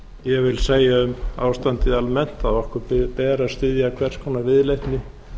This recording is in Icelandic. ég vil segja um ástandið almennt að okkur ber að styðja hvers konar viðleitni